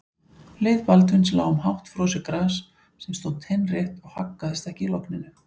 Leið Baldvins lá um hátt frosið gras sem stóð teinrétt og haggaðist ekki í logninu.